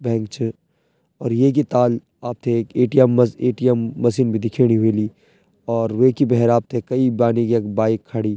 बैंक च और येकी ताल आपथे एक ए.टी.एम. मस ए.टी.एम. मशीन भी दिखेणी ह्वेली और वेकि भैर आपथे कई बानी कि यख बाइक खड़ीं।